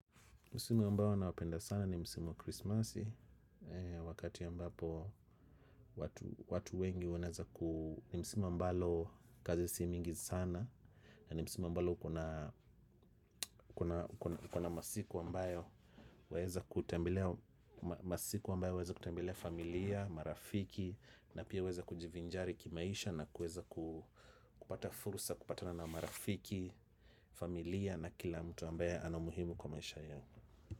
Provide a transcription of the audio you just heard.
Musimu ambayo na wapenda sana ni musimu krismasi. Wakati ambapo watu wengi wanaeza ku ni musimu ambalo kazi si mingi sana. Nani musimu ambayo kuna masiku ambayo waeza kutembelea familia, marafiki. Na pia weza kujivinjari kimaisha. Na kuweza kupata fursa kupatana na marafiki. Familia na kila mtu ambaye anaumuhimu kwa maisha yao.